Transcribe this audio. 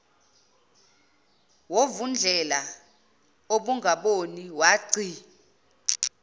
movundlela ongaboni wagci